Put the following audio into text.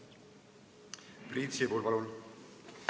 Priit Sibul, palun!